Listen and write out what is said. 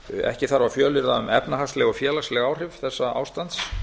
ekki þarf að fjölyrða um efnahagsleg og félagsleg áhrif þessa ástands